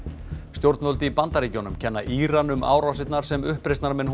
stjórnvöld í Bandaríkjnum kenna Íran um árásinar sem uppreisnarmenn